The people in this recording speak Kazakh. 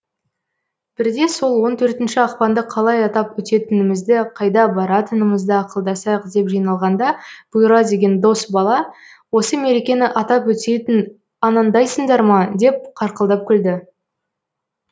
бірде сол он төртінші ақпанды қалай атап өтетіңімізді қайда баратыңымызды ақылдасайық деп жиналғанда бұйра деген дос бала осы мерекені атап өтетін анандайсыңдар ма деп қарқылдап күлді